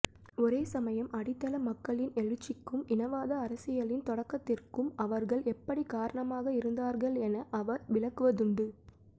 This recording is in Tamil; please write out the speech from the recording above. ஒரேசமயம் அடித்தள மக்களின் எழுச்சிக்கும் இனவாத அரசியலின் தொடக்கத்திற்கும் அவர்கள் எப்படிக் காரணமாக இருந்தார்கள் என அவர் விளக்குவதுண்டு